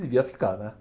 Devia ficar, né?